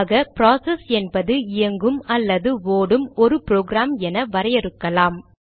ஆக ப்ராசஸ் என்பது இயங்கும் அல்லது ஓடும் ஒரு ப்ரோக்ராம் என வரையறுக்கலாம்